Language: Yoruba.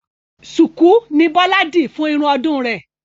Ṣùkú ni Bọ́lá dì fún irun ọdún rè